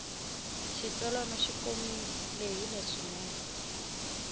xitsalwana xi komile lehile swinene